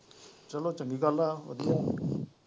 ਚਲੋ ਚੰਗੀ ਗੱਲ ਆ ਵਧੀਆ